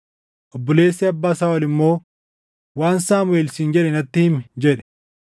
Obboleessi abbaa Saaʼol immoo, “Waan Saamuʼeel siin jedhe natti himi” jedhe.